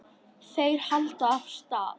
Þeir halda af stað.